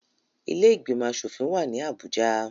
Ilé ìgbìmọ̀ asòfin wà ní Abuja